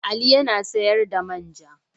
Ali ya na sayar da man ja.